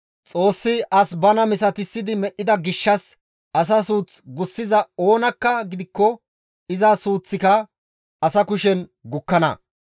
Xoossi as bana misatissidi medhdhida gishshas asa suuth gussiza oonakka gidikko iza suuththika asa kushen gukkana.